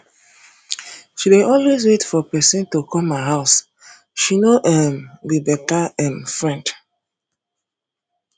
she dey always wait for pesin to come her house she no um be beta um friend